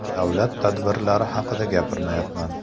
Davlat tadbirlari haqida gapirmayapman.